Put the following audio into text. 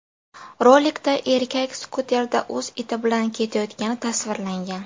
Rolikda erkak skuterda o‘z iti bilan ketayotgani tasvirlangan.